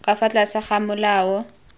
ka fa tlase ga molao